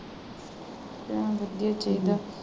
ਧਯਾਨ ਰੱਖੀ ਠੀਕ ਹੈ।